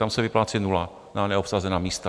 Tam se vyplácí nula na neobsazená místa.